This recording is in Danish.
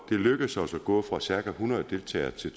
det er lykkedes os at gå fra cirka hundrede deltagere til